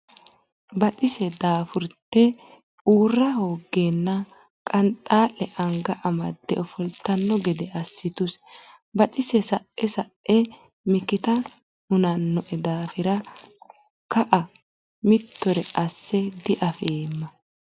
Baxise daafurte uurra hooggeenna Qanxaa le anga amadde ofoltanno gede assituse Baxise Sae sae mikita hunannoe daafira ka a mittore asse diafeemma.